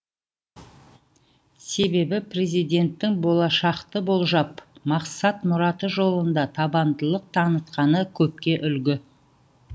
себебі президенттің болашақты болжап мақсат мұраты жолында табандылық танытқаны көпке үлгі